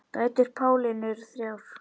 Dætur Pálínu eru þrjár.